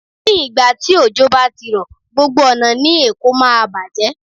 Ní ìgbà tí òjò bá ti rọ̀, gbogbo ọ̀nà ní Èkó máa bàjẹ́.